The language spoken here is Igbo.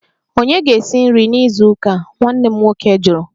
Ònye ga-esi nri na izu ụka a? Nwanne nna m jụrụ